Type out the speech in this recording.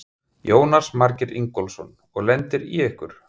Jónas Margeir Ingólfsson: Og lendir í ykkur?